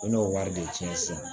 U n'o wari de tiɲɛ sisan